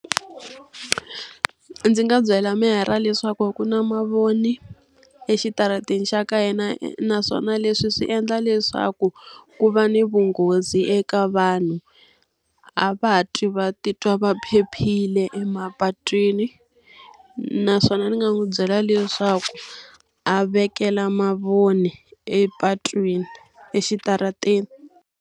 Ndzi nga byela meyara leswaku a ku na mavoni exitarateni xa ka hina naswona leswi swi endla leswaku, ku va ni vunghozi eka vanhu. A va ha twi va titwi va phephile emapatwini. Naswona ni nga n'wi byela leswaku a vekela mavoni epatwini, exitarateni.